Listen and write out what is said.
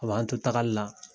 A b'an to taagali la